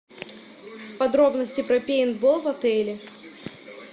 подробности про пейнтбол в отеле